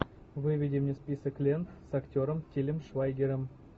выведи мне список лент с актером тилем швайгером